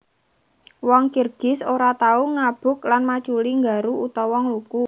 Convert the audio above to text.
Wong Kirgiz ora tau ngabuk lan maculi nggaru utawa ngluku